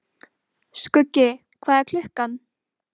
Skuggi, hvað er klukkan?